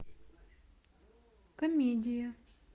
комедия